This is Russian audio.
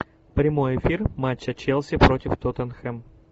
прямой эфир матча челси против тоттенхэм